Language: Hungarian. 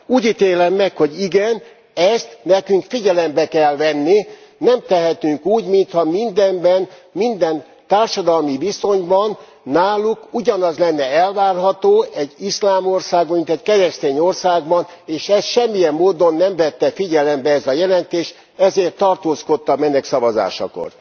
Úgy ítélem meg, hogy igen, ezt nekünk figyelembe kell venni, nem tehetünk úgy, mintha mindenben, minden társadalmi viszonyban náluk ugyanaz lenne elvárható egy iszlám országban, mint egy keresztény országban, és ezt semmilyen módon nem vette figyelembe ez a jelentés, ezért tartózkodtam ennek szavazásakor.